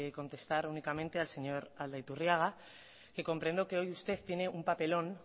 contestar únicamente al señor aldaiturriaga que comprendo que hoy usted tiene un papelón